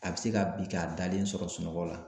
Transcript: A bɛ se ka bin k'a dalen sɔrɔ sunɔgɔ la